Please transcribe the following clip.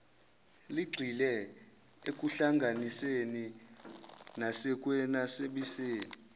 ligxile ekuhlanganiseni nasekwenabiseni